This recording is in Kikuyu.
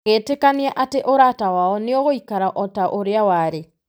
Agĩtĩkania atĩ ũrata wao "nĩ ũgũikara o ta ũrĩa warĩ".